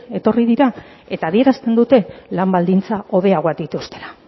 etorri dira eta adierazten dute lan baldintza hobeagoak dituztela